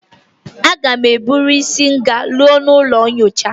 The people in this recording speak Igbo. Aga m eburu nshi gaa n'ụlọ nyocha